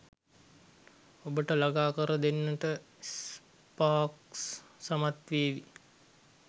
ඔබට ලඟා කරදෙන්නට ස්පාක්ස් සමත් වේවි.